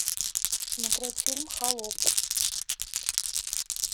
смотреть фильм холоп